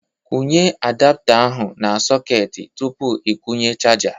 Kwụnye adapta ahụ na sọketị tupu ị kwụnye chaja